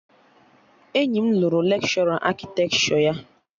Enyi m lụrụ lekshọra akịtekshọ ya